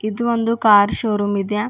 ಇದು ಒಂದು car showroom ಇದೆ.